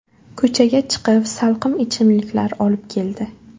Ko‘chaga chiqib salqin ichimliklar olib keldi.